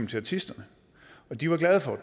til artisterne og de var glade for